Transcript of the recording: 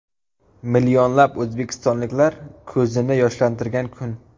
Millionlab o‘zbekistonliklar ko‘zini yoshlantirgan kun.